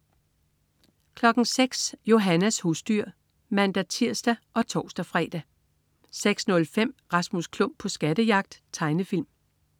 06.00 Johannas husdyr (man-tirs og tors-fre) 06.05 Rasmus Klump på skattejagt. Tegnefilm